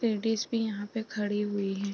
Ladies भी यहां पे खड़ी हुई हैं।